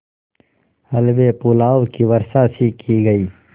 हलवेपुलाव की वर्षासी की गयी